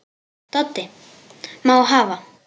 Doddi: Má hafa